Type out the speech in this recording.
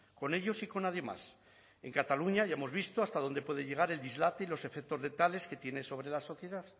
con ellos y con nadie más en cataluña ya hemos visto hasta dónde puede llegar el dislate y los efectos de tales que tiene sobre la sociedad